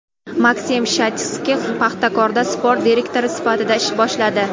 Maksim Shatskix "Paxtakor"da sport direktori sifatida ish boshladi.